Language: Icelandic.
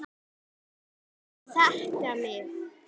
En þeir þekkja mig.